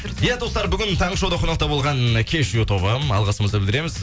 иә достар бүгін таңғы шоуда қонақта болған кешью тобы алғысымызды білдіреміз